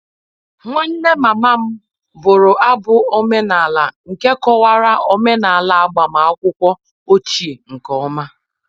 Nwanne mama m bụrụ abụ omenala nke kọwara omenala agbamakwụkwọ ochie nke ọma